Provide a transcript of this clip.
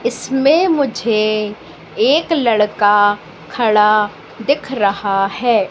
इसमें मुझे एक लड़का खड़ा दिख रहा है।